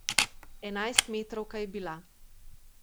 Enajstmetrovka je bila.